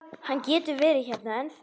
Hann getur verið hérna ennþá.